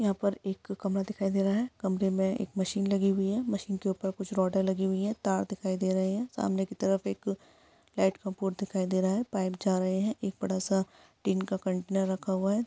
यहा पर एक कमरा दिखाई दे रहा है कमरे मे एक मशीन लगी हुई है मशीन के ऊपर कुछ रॉडे लगी हुई है तार दिखाई दे रहे है सामने की तरफ एक अ लाइट का बोर्ड दिखाई दे रहा है पाइप जा रहे है एक बडा सा टीन का कंटेनर रखा हुआ है।